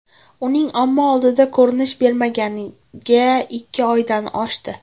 Uning omma oldiga ko‘rinish bermaganiga ikki oydan oshdi.